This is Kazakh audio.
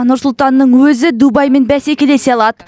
нұр сұлтанның өзі дубаймен бәсекелесе алады